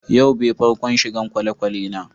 Yau be farkon shigan kwalekwale na.